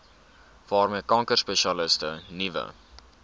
waarmee kankerspesialiste nuwe